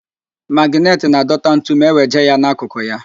Magịnetị na-adọta ntu ma eweje ya n'akụkụ ya.